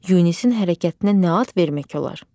Yunisin hərəkətinə nə ad vermək olar?